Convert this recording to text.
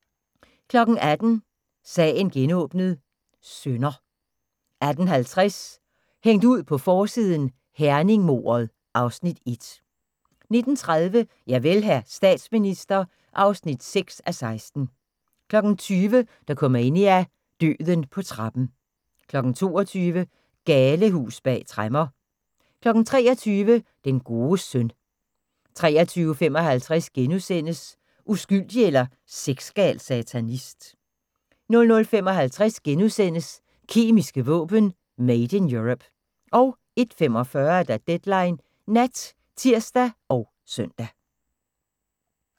18:00: Sagen genåbnet: Synder 18:50: Hængt ud på forsiden: Herning-mordet (Afs. 1) 19:30: Javel, hr. statsminister (6:16) 20:00: Dokumania: Døden på trappen 22:00: Galehus bag tremmer 23:00: Den gode søn 23:55: Uskyldig eller sexgal satanist? * 00:55: Kemiske våben: Made in Europe * 01:45: Deadline Nat (tir og søn)